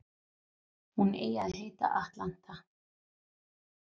Hún eigi að heita Atlanta